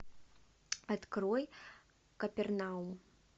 открой капернаум